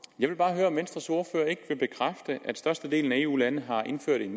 jeg vil bare høre om venstres ordfører ikke vil bekræfte at størstedelen af eu landene har indført